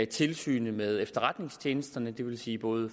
tilsynet med efterretningstjenesterne det vil sige både